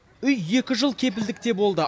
үй екі жыл кепілдікте болды